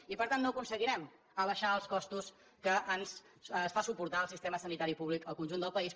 i per tant no aconseguirem abaixar els costos que es fa suportar al sistema sanitari públic en el conjunt del país